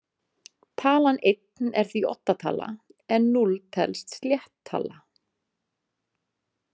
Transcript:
Talan einn er því oddatala, en núll telst slétt tala.